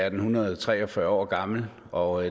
en hundrede og tre og fyrre år gammel og